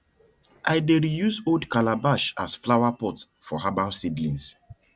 i dey reuse old calabash as flowerpot for herbal seedlings